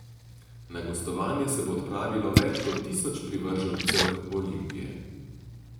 Na gostovanje se bo odpravilo več kot tisoč privržencev Olimpije.